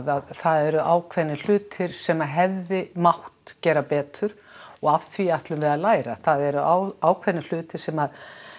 að það eru ákveðnir hlutir sem hefði mátt gera betur og af því ætlum við að læra það eru ákveðnir hlutir sem